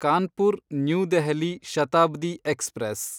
Kanpur new Delhi Shatabdi express